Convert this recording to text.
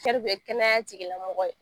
bɛkɛnɛya tigilamɔgw ye